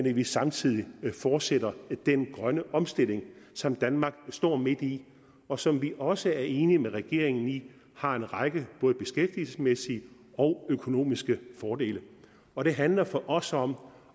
at vi samtidig fortsætter den grønne omstilling som danmark står midt i og som vi også er enige med regeringen i har en række både beskæftigelsesmæssige og økonomiske fordele og det handler for os om